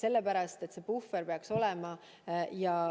Teatud puhver peaks olema.